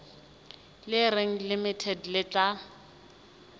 le reng limited le tla